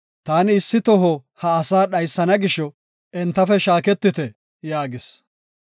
“Taani issi toho ha asaa dhaysana gisho, entafe shaaketite” yaagis.